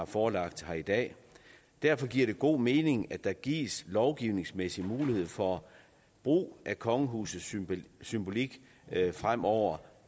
forelagt her i dag derfor giver det god mening at der gives lovgivningsmæssig mulighed for brug af kongehusets symbolik symbolik fremover